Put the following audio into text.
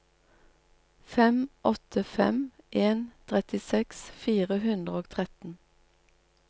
fem åtte fem en trettiseks fire hundre og tretten